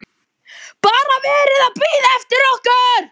BARA VERIÐ AÐ BÍÐA EFTIR OKKUR!